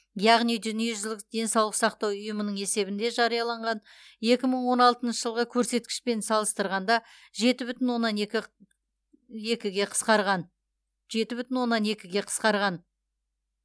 яғни дүниежүзілік денсаулық сақтау ұйымының есебінде жарияланған екі мың он алтыншы жылғы көрсеткішпен салыстырғанда жеті бүтін оннан екі екіге қысқарған жеті бүтін оннан екіге қысқарған